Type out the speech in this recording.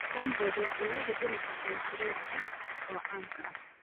Cornbread waa cunnada dhinaca koonfureed ee caanka ah.